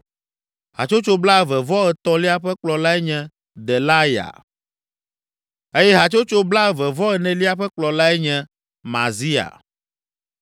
Hatsotso blaeve-vɔ-etɔ̃lia ƒe kplɔlae nye Delaya eye hatsotso blaeve-vɔ-enelia ƒe kplɔlae nye Mazia.